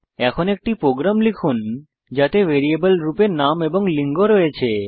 এখন একটি প্রোগ্রাম লিখুন যাতে ভ্যারিয়েবল রূপে নাম এবং লিঙ্গ রয়েছে